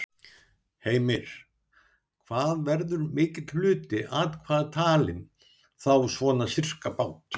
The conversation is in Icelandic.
Heimir: Hvað verður mikill hluti atkvæða talinn, þá svona sirkabát?